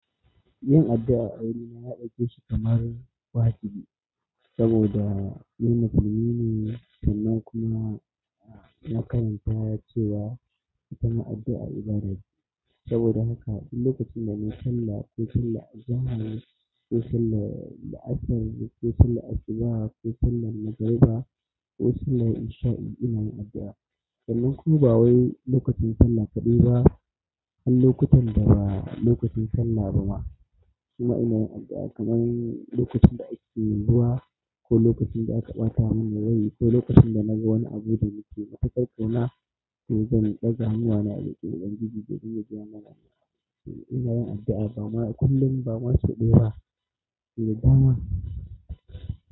Yin addu'a a wurina na ɗauke shi kamar wajibi saboda ni musulmi ne sannan kuma na karanta cewa ita ma addu'a ibada ce. Saboda haka duk lokacin da nayi sallah, ko sallar zahri, ko sallar la'asar, ko sallar asubaha, ko sallar magariba ko sallar isha'i ina yin addu'a. Sannan kuma ba wai lokacin sallah kaɗaiba, har lokutan da ba lokacin sallah ba ma, suna ina yin addu'a kamar lokacin da ake yin ruwa ko lokacin da aka ɓata mun rai ko lokacin da na ga wani abu da nake matuƙar ƙauna to zan ɗaga hannuwana idan da littattafan juji da juya jiyan mana. Ina yin addu'a ba ma kullum ba masu ɗayeba ba, sau da dama.